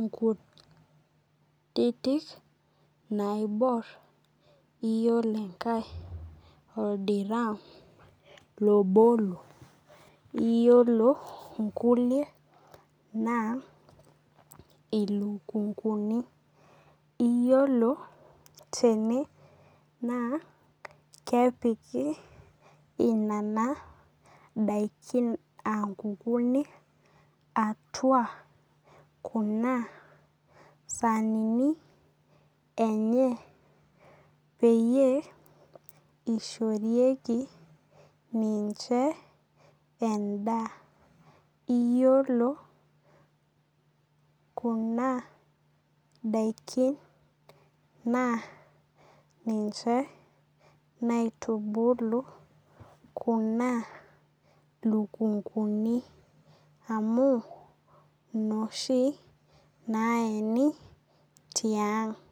inkutitik naibor iyiolo enkae oldiram lobolo. Iyiolo inkukie naa ilukunkuni. Iyiolo tene naa kepiki inana daikin aa nkukunik atua sanini enye peyie ishorieki ninche edaa. Iyiolo kuna daikin naa ninche naitubulu kuna lukunkuni amu inoshi naeni tiang'.